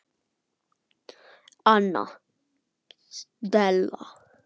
Anna Stella.